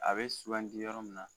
A be e sugandi yɔrɔ min na